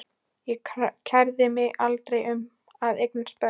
Ég kærði mig aldrei um að eignast börn.